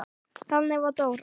Þannig var Dóra.